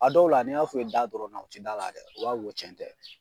A dɔw la n'i y'a f'u ye da dɔrɔn na u ti d'a la dɛ, u b'a fɔ ko tiɲɛ tɛ.